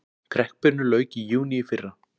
Kreppunni lauk í júní í fyrra